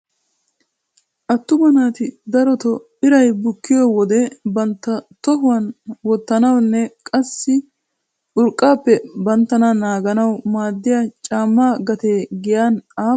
Attuma naati darotoo iray bukkiyo wode bantta tohuwan wottanawunne qassi urqqappe banttana naaganawu maadiya caamma gatee giyan aappun biree ?